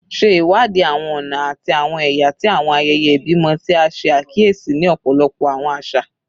Ṣe iwadi awọn ọna ati awọn ẹya ti awọn ayẹyẹ ibimọ ti a ṣe akiyesi ni ọpọlọpọ awọn aṣa